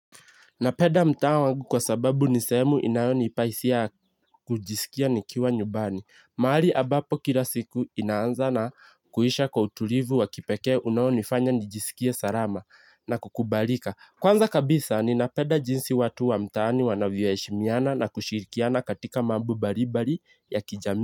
Napenda mtaa wangu kwa sababu ni sehemu inayonipa hisia ya kujisikia nikiwa nyumbani. Mahali ambapo kila siku inaanza na kuisha kwa utulivu wa kipekee unayonifanya nijisikie salama na kukubalika. Kwanza kabisa ninapenda jinsi watu wa mtaani wanavyoheshimiana na kushirikiana katika mambo mbalimbali ya kijamii.